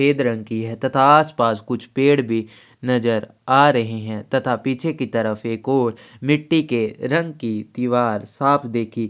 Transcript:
सफेद रंग की है तथा आसपास कुछ पेड़ भी नज़र आ रहै हैं तथा पीछे की तरफ एक ओर मिट्टी के रंग की दिवार साफ देखी--